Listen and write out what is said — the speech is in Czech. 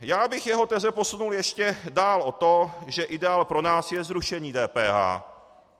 Já bych jeho teze posunul ještě dál od toho, že ideál pro nás je zrušení DPH.